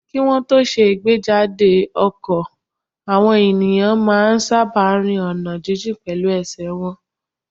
Kí wọ́n tó ṣe ìgbéjáde àwọn ọkọ̀, àwọn èèyàn máa n sáábà rin ọ̀nà jínjìn pẹ̀lú ẹsẹ̀ wọn